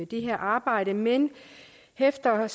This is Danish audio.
det her arbejde men vi hæfter